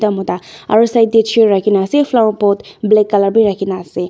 mota aro side tey chair rakina ase flower pot black colour b rakhina ase.